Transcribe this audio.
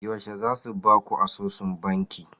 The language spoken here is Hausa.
Yaushe za su ba ku asusun banki?